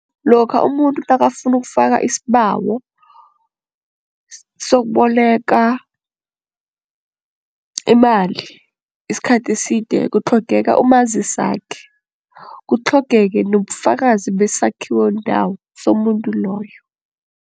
Lokha umuntu nakafuna ukufaka isibawo sokuboleka imali isikhathi eside kutlhogeka umazisakhe, kutlhogeke nobufakazi besakhiwo ndawo somuntu loyo.